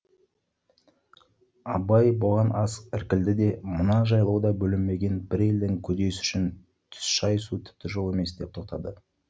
абай бұған аз іркілді де мына жайлауда бөлінбеген бір елдің көдесі үшін түс шайысу тіпті жол емес деп тоқтады